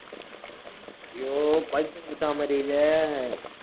ஐயோ பைத்தியம் பிடிச்ச மாதிரி இருக்கே